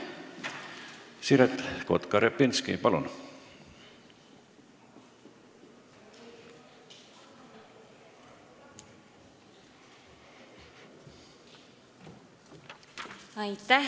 Siret Kotka-Repinski, palun!